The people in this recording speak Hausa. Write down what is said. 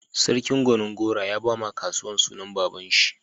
Sarkin Gonin-gora ya ba ma katsuwan sunan baba'n shi.